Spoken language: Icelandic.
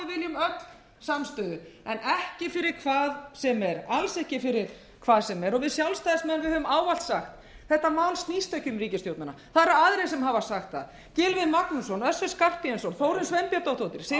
öll samstöðu en ekki fyrir hvað sem er alls ekki fyrir hvað sem er og við sjálfstæðismenn höfum ávallt sagt þetta mál snýst ekki um ríkisstjórnina það eru aðrir sem hafa sagt það gylfi magnússon össur skarphéðinsson þórunn sveinbjarnardóttir sigmundur ernir rúnarsson allir